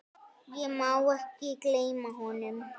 Ég má ekki gleyma honum.